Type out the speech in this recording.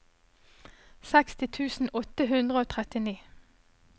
seksti tusen åtte hundre og trettini